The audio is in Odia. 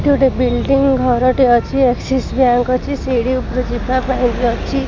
ଏଠି ଗୋଟେ ବିଲ୍ଡିଂ ଘର ଟିଏ ଅଛି ଏକ୍ସିସ ବ୍ୟାଙ୍କ ଅଛି ସିଡି ଉପରେ ଯିବା ପାଈଁ ବି ଅଛି।